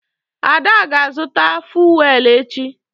Ada ga-azụta fuwel echi.